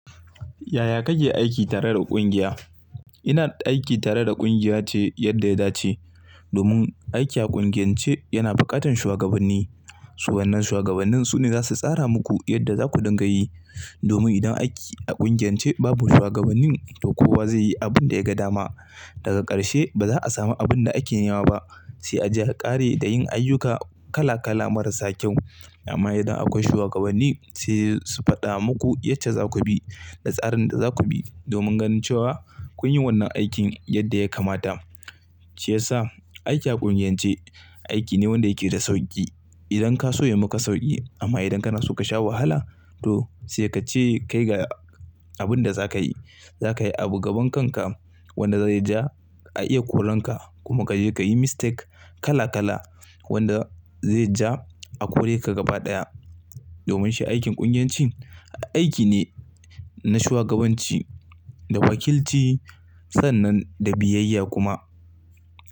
Yaya kake aiki tare da ƙungiya? Ina aiki tare da ƙungiya ce yadda ya dace. Domin aiki a ƙungiyance yana buƙatan shuwagabanni. So wannan shuwagabannin su ne za su tsara muku yadda za ku dinga yi. Domin idan aiki a ƙungiyance babu shuwagabannin, to kowa zai yi abun da ya ga dama. Daga ƙarshe, ba za'a samu abun da ake nema ba. Sai a je a ƙare da yin ayyuka kala-kala marasa kyau. Amma idan akwai shuwagabanni, sai su faɗa muku yacce za ku bi, da tsarin da za ku bi, domin ganin cewa kun yi wannan aikin yadda ya kamata. Shiyasa, aiki a ƙungiyance, aiki ne wanda yake da sauƙi. Idan ka so ya maka sauƙi, amma idan kana so ka sha wahala, to sai ka ce kai ga abun da za ka yi. Za ka yi a gaban kanka wanda zai ja, a iya koranka, kuma ka je ka yi mistake kala-kala, wanda zai ja a kore ka gaba ɗaya. Domin shi aikin ƙungiyancin, aiki ne na shugabanci da wakilci sannan da biyayya kuma.